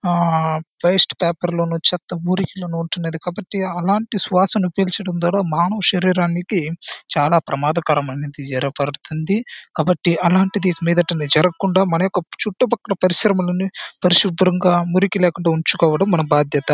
ఆ waste paper లోను చెత్త మురుకిలోను వుంటున్నది కాబట్టి అలాంటి శ్వాసను పీల్చడం ద్వారా మానవ శరీరానికి చాల ప్రమాదకరమైనది జరగబరుగుతుంది . కాబట్టి అలాంటిది ఇక మీదట జరగకుండా మన యొక్క చూట్టు ప్రక్కల పరిశ్రమలను పరిశుభ్రంగా మురికి లేకుండా ఉంచుకోవడం మన బాధ్యత.